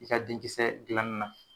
I ka denkisɛ gilanin na